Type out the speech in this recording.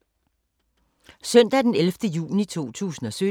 Søndag d. 11. juni 2017